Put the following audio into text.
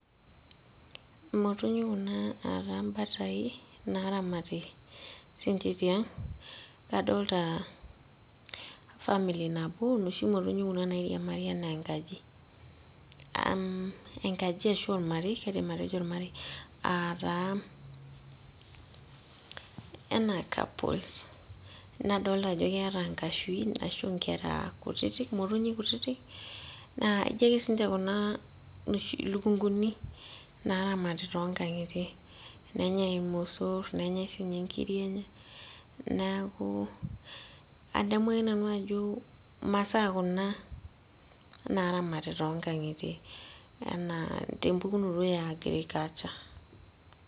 Imotonyi kuna ataa imbatai naramati sinche tiang' adolta family nabo inoshi motonyi kuna nairiamari anaa enkaji umh enkaji ashu ormarei kaidim atejo ormarei ataa enaa couples nadolta ajo keeta nkashuin ashu inkera motonyi kutitik naa ijo ake sinche kuna ilukunkuni naramati tonkang'itie nenyai irmosorr nenyai sinye inkiri enye niaku adamu ake nanu ajo imasaa kuna naramati tonkang'itie ana tempukunoto e agriculture.